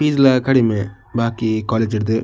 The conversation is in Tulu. ಫೀಸ್ ಲ ಕಡಿಮೆ ಬಾಕಿ ಕೊಲೇಜ್ ಡ್ದ್.